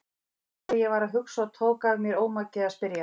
Sá hvað ég var að hugsa og tók af mér ómakið að spyrja.